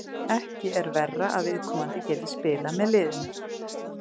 Ekki er verra að viðkomandi geti spilað með liðinu.